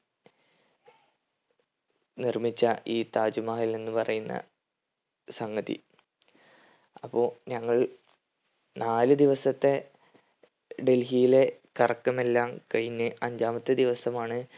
നിർമിച്ച ഈ താജ് മഹൽ എന്ന് പറയുന്ന സംഗത അപ്പൊ ഞങ്ങൾ നാല് ദിവസത്തെ ഡൽഹിയിലെ കറക്കമെല്ലാം കഴിഞ്ഞ് അഞ്ചാമത്തെ ദിവസമാണ്